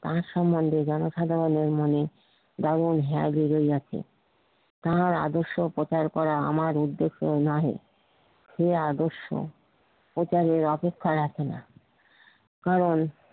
তার সম্বন্ধে জনসাধারনের মনে যেমন হাঁ বেধে তাহার আদর্শ কথার পর আমার উদ্দেশ্য নাহি সেই আদর্শ প্রচারের অপেক্ষায় রাখে না কারণ